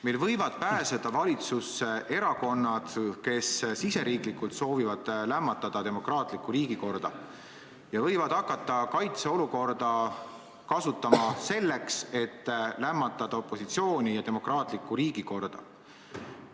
Meil võivad pääseda valitsusse erakonnad, kes soovivad riigis lämmatada demokraatlikku riigikorda ja võivad hakata kaitseolukorda kasutama selleks, et opositsiooni maha suruda.